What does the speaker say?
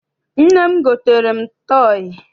Nne m gotere m tọọyị.